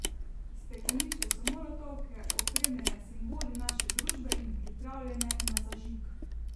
Stekleničke so molotovke, opremljene s simboli naše družbe in pripravljene na zažig.